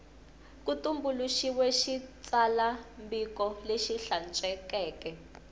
ku tumbuluxiwile xitsalwambiko lexi hlantswekeke